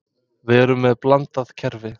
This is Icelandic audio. Við erum með blandað kerfi.